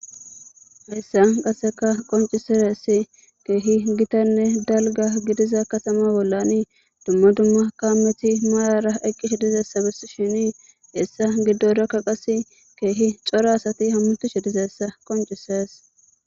heyssa qaseka qonciseressi keehi gitanne dalga gidiza katama bollani duma duma kaammeti maarara eqqish dizayissa besshini hesa giddorakka qasa kehi cora asati hammutishe dizayissa qoncisees.